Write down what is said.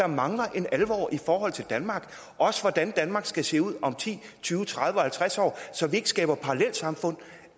mangler en alvor i forhold til danmark også hvordan danmark skal se ud om ti tyve og halvtreds år så vi ikke skaber parallelsamfund